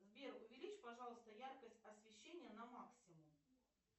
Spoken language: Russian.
сбер увеличь пожалуйста яркость освещения на максимум